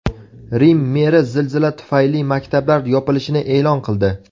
Rim meri zilzila tufayli maktablar yopilishini e’lon qildi.